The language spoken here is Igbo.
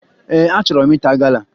Ee, achọrọ m ịta gala